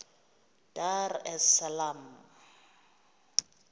dar es salaam